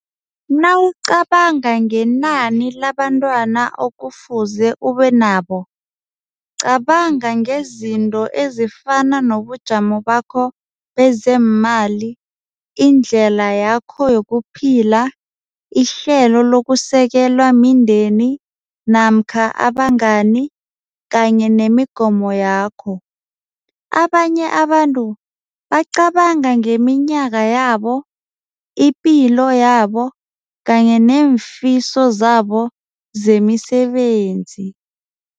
Nawucabanga ngenani labantwana okufuze ube nabo. Cabanga ngezinto ezifana nobujamo bakho bezeemali, indlela yakho yokuphila, ihlelo lokusekelwa mindeni namkha abangani kanye nemigomo yakho. Abanye abantu bacabanga ngeminyaka yabo, ipilo yabo kanye neemfiso zabo zemisebenzi.